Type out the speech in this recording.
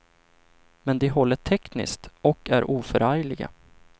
Men de håller tekniskt och är oförargliga.